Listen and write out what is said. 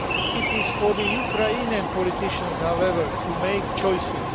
It is for Ukraine's politicians, however, to make choices.